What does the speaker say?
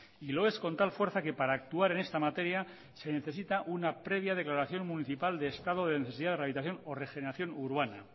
y lo es con tal fuerza que para actuar en esta materia se necesita una previa declaración municipal de estado de necesidad de rehabilitación o regeneración urbana